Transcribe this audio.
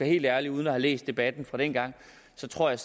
helt ærlig uden at have læst debatten fra dengang så tror jeg